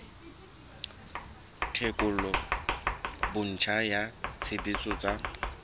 tekolo botjha ya tshebetso tsa